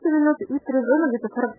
быстрый вызов